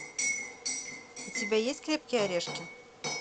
у тебя есть крепкие орешки